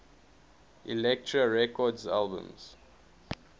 elektra records albums